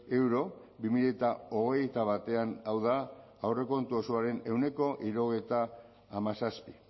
euro bi mila hogeita batean hau da aurrekontu osoaren ehuneko hirurogeita hamazazpi